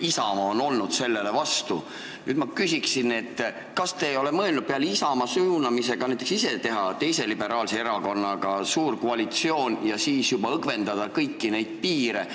Nüüd ma küsin: kas te ei ole mõelnud peale Isamaa suunamise teha tööd ka teise liberaalse erakonnaga suures koalitsioonis ja niimoodi kõiki neid piire õgvendada?